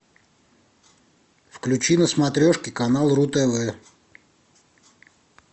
включи на смотрешке канал ру тв